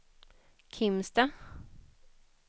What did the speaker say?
Kimstad